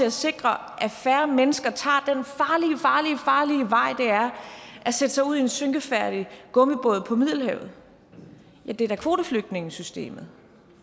at sikre at færre mennesker tager den farlige farlige vej det er at sætte sig ud i en synkefærdig gummibåd på middelhavet ja det er da kvoteflygtningesystemet